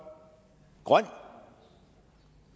grøn